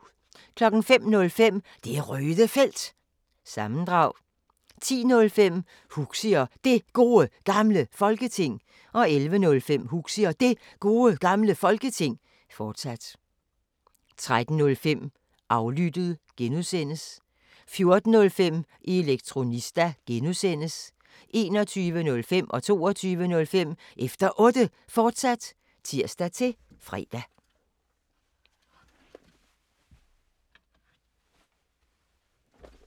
05:05: Det Røde Felt – sammendrag 10:05: Huxi og Det Gode Gamle Folketing 11:05: Huxi og Det Gode Gamle Folketing, fortsat 13:05: Aflyttet (G) 14:05: Elektronista (G) 21:05: Efter Otte, fortsat (tir-fre) 22:05: Efter Otte, fortsat (tir-fre)